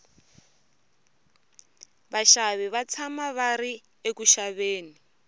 vaxavi va tshama va ri eku xaveni